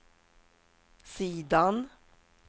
sidan